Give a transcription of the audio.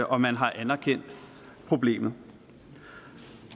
og man har anerkendt problemet